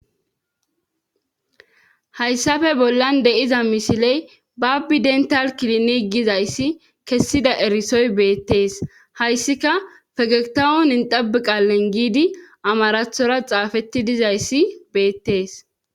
hayssafe bollan deiza misiley babbi dental kilini gizayssi kessida erisoy beettees hayssika fegetawon indabiqal lengidi amarathora xaafetti dizayssi beettees